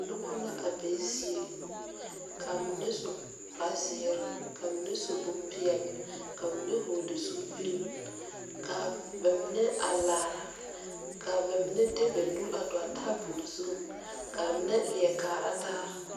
Nuba la a be zeɛ ka menne su kpare ziiri ka menne su bunpeɛle ka menne vɔgli zupile kaa ba menne a laara kaa ba menne de ba nuuri a dɔgli tabol zu ka ba menne leɛ kaara taa.